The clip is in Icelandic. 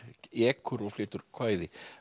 ekur og flytur kvæði